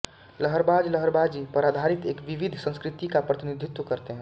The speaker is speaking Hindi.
लहरबाज़ लहरबाज़ी पर आधारित एक विविध संस्कृति का प्रतिनिधित्व करते हैं